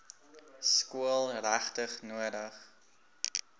skool regtig nodig